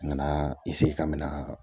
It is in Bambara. N nana ka mɛna